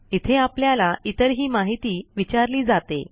इथे आपल्याला इतरही माहिती विचारली जाते